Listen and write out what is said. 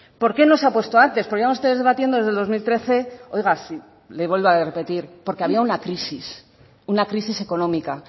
por qué no se ha puesto antes porque llevan ustedes debatiendo desde el dos mil trece oiga le vuelvo a repetir porque había una crisis una crisis económica